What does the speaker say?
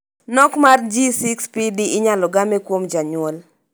Nok mar G6PD inyalo game kuom janyuol.